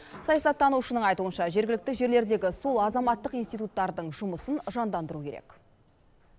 саясаттанушының айтуынша жергілікті жерлердегі сол азаматтық институттардың жұмысын жандандыру керек